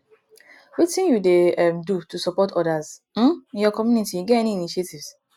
wetin you dey um do to support odas um in your community you get any initiatives